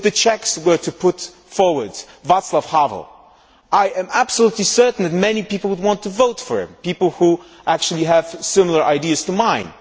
If the Czechs were to put forward Vaclav Havel, I am absolutely certain that many people would want to vote for him people who actually have similar ideas to mine.